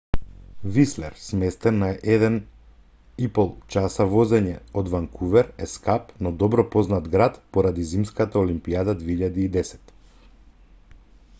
вислер сместен на 1,5 часа возење од ванкувер е скап но добро познат град поради зимската олимпијада 2010